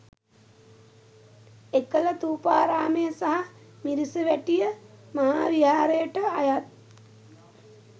එකල ථූපාරාමය සහ මිරිසවැටිය, මහාවිහාරයට අයත්